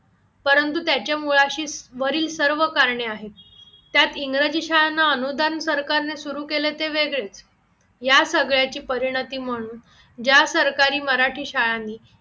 परंतु त्याच्या मुळाशी वरील सर्व कारणे आहेत त्यात इंग्रजी शाळांना अनुदान सरकारने सुरू केले ते वेगळेच या सगळ्याची परिणती म्हणून ज्या सरकारी मराठी शाळांनी